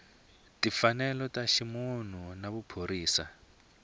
timfanelo ta ximunhu na vuphorisasa